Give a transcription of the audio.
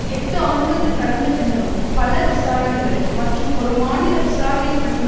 எட்டு ஆண்டுகள் கடந்த பின்னரும் பல விசாரணைகள் மற்றும் ஒரு மாநில விசாரணைக்குழுவின்